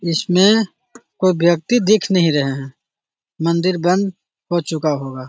इसमें कोई व्यक्ति दिख नहीं रहे हैं | मंदिर बंद हो चूका होगा |